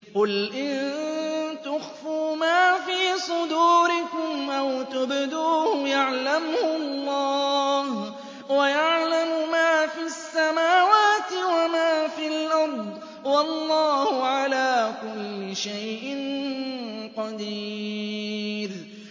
قُلْ إِن تُخْفُوا مَا فِي صُدُورِكُمْ أَوْ تُبْدُوهُ يَعْلَمْهُ اللَّهُ ۗ وَيَعْلَمُ مَا فِي السَّمَاوَاتِ وَمَا فِي الْأَرْضِ ۗ وَاللَّهُ عَلَىٰ كُلِّ شَيْءٍ قَدِيرٌ